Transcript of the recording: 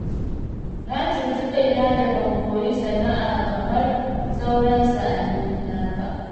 Na cuci kaina da ban koyi sana'a kamar sauran sa'annina ba